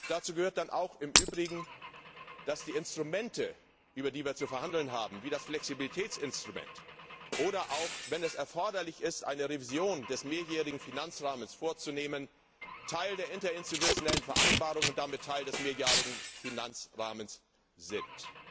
Dazu gehört dann auch im Übrigen, dass die Instrumente, über die wir zu verhandeln haben, wie das Flexibilitätsinstrument, oder auch, wenn es erforderlich ist, eine Revision des mehrjährigen Finanzrahmens vorzunehmen, Teil der interinstitutionellen Vereinbarung und damit Teil des mehrjährigen Finanzrahmens sind.